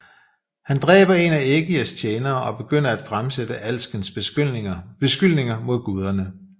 Han dræber en af Ægirs tjenere og begynder af fremsætte alskens beskyldninger mod guderne